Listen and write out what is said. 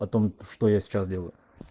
о том что я сейчас делаю